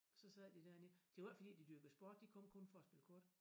Så sad de derinde det var ikke fordi de dyrkede sport de kom kun for at spille kort